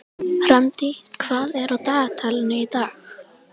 Randý, hvað er á dagatalinu í dag?